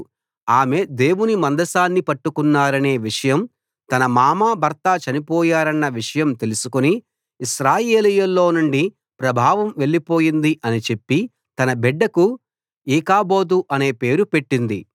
ఆమె దేవుని మందసాన్ని పట్టుకున్నారనే విషయం తన మామ భర్త చనిపోయారన్న విషయం తెలుసుకుని ఇశ్రాయేలీయుల్లో నుండి ప్రభావం వెళ్ళిపోయింది అని చెప్పి తన బిడ్డకు ఈకాబోదు అనే పేరు పెట్టింది